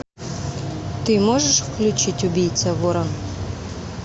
ты можешь включить убийца вора